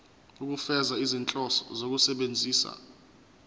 ukufeza izinhloso zokusebenzisa